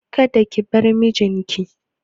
Kada ki bar mijin ki!